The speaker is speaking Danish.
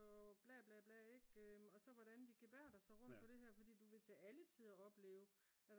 og bla bla bla ikke og så hvordan de gebærder sig rundt på det her fordi du vil til alle tider opleve